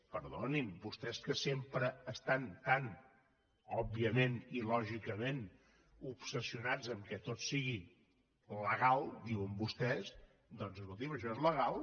perdonin vostès que sempre estan tan òbviament i lògicament obsessionats que tot sigui legal ho diuen vostès doncs escoltin això és legal